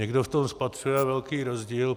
Někdo v tom spatřuje velký rozdíl.